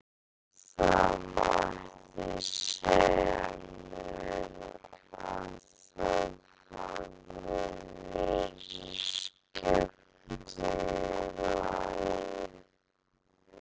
Já, það mætti segja mér að það hafi verið skemmtun í lagi!